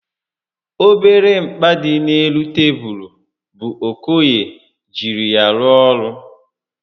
Obere mkpa dị n'elu tebulu bụ Okoye jiri ya rụọ ọrụ